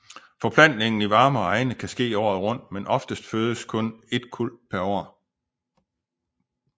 Forplantningen i varmere egne kan ske året rundt men oftest fødes kun et kuld per år